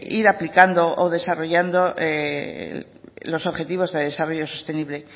ir aplicando o desarrollando los objetivos de desarrollo sostenible